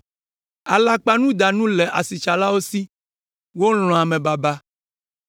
Alakpanudanu le asitsalawo si, wolɔ̃a amebaba.